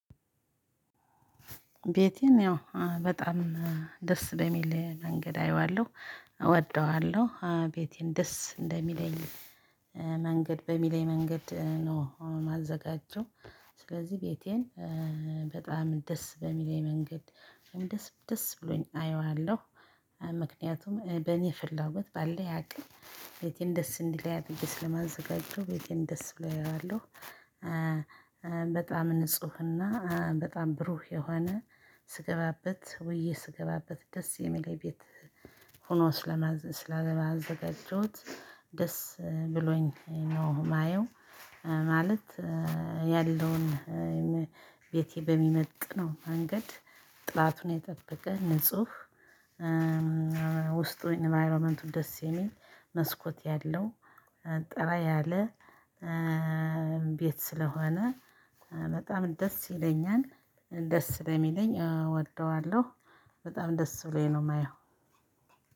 ቤቴን ያው በጣም ደስ በሚል መንገድ አየዋለሁ እወደዋለሁ ቤቴን ደስ እንደሚለኝ መንገድ በሚለኝ መንገድ ነው። አሁን ማዘጋጀው ስለዚህ ቤቴን በጣም ደስ በሚለኝ መንገድ። ደስ ደስ ብሎኝ አየዋለሁ ምክንያቱም በእኔ ፍላጎት ባለኝ አቅም ቤቴን ደስ እንዲለኝ አድርጌ ስለማዘጋጀው ቤቴን ደስ ብሎ አየዋለሁ። በጣም ንፁህና በጣም ብሩህ የሆነ ስገባበት ውዬ ስገባበት ደስ የሚለኝ ቤት። ሆኖ ስላገባ ስለማዘጋጀት ደስ ብሎኝ ነው የማየው። ማለት ያለውን ቤቴ በሚመጥነው መንገድ ጥራቱን የጠበቀ ንጹህ። ውስጡ ኢንቫይሮመንቱ ደስ የሚል መስኮት ያለው ጠራ ያለ ቤት ስለሆነ በጣም ደስ ይለኛል። ደስ ስለሚለኝ እወደዋለሁ በጣም ደስ ብሎኝ ነው የማየው።